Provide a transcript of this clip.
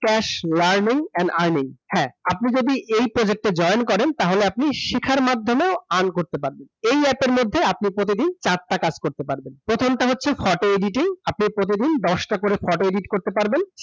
Cash learning and earning হ্যাঁ। আপনি যদি এই project এ join করেন, তাহলে আপনি শিখার মাধ্যমেও এয়ার করতে পারবেন । এই অ্যাপ এর মদ্ধে, আপনি প্রতিদিন চারটা কাজ করতে পারবেন। প্রথমটা হচ্ছে photo editing । আপনি প্রতিদিন দশটা করে photo edit করতে পারবেন।